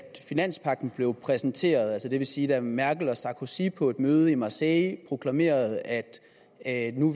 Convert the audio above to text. finanspagten blev præsenteret altså det vil sige da merkel og sarkozy på et møde i marseille proklamerede at at nu